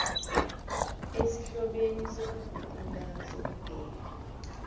esihlobene sokuguqula sokubeka